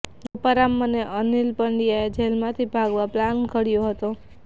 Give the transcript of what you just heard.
ગોપારામ અને અનિલ પાંડ્યાએ જેલમાંથી ભાગવા પ્લાન ઘડ્યો હતો